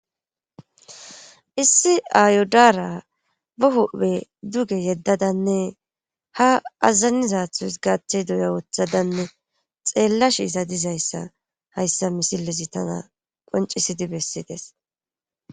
issi ayo daara ba huphe duge yeddadanne ha azazanizathus gaaththe duya woththadanne xeellash iza dizayssa hayssa misilezi tana qoncisidi bessides